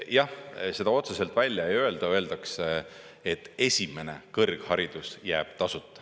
Jah, seda otseselt välja ei öelda, öeldakse, et esimene kõrgharidus jääb tasuta.